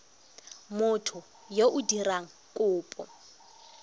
motho yo o dirang kopo